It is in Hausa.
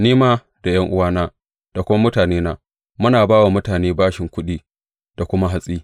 Ni ma da ’yan’uwana da kuma mutanena muna ba wa mutane bashin kuɗi da kuma hatsi.